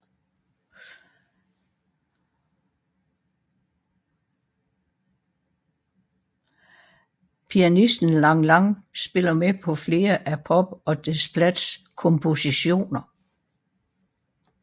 Pianisten Lang Lang spiller med på flere af Pope og Desplats kompositioner